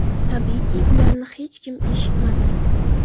Tabiiyki, ularni hech kim eshitmadi.